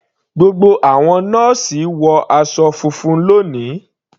Gbogbo àwọn nọ́ọ́sì wọ aṣọ funfun lóni.